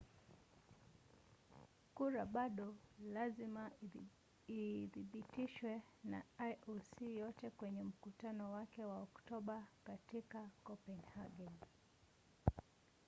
kura bado lazima ithibitishwe na ioc yote kwenye mkutano wake wa oktoba katika kopenhagen